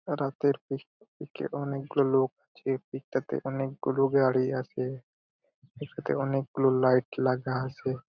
রাতের pic pic -এর অনেক লোক এই পিক -টাতে অনেকগুলো গাড়ি আছে | পিক -টাতে অনেকগুলো লাইট লাগা আছে ।